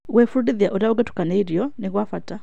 Gwĩbundithia ũrĩa ũngĩtukania irio nĩ gwa bata.